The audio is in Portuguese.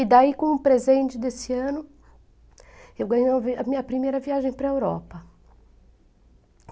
E daí, como presente desse ano, eu ganhei a minha primeira viagem para Europa.